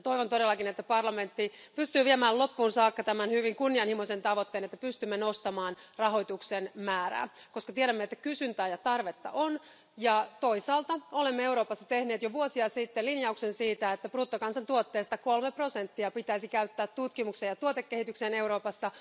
Toivon todellakin, että parlamentti pystyy viemään loppuun saakka tämän hyvin kunnianhimoisen tavoitteen, jotta pystymme nostamaan rahoituksen määrää, koska tiedämme, että kysyntää ja tarvetta on, ja toisaalta olemme Euroopassa tehneet jo vuosia sitten linjauksen siitä, että bruttokansantuotteesta kolme prosenttia pitäisi käyttää tutkimukseen ja tuotekehitykseen Euroopassa.